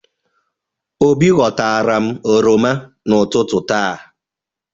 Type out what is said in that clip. Obi ghọtara m oroma n'ụtụtụ taa.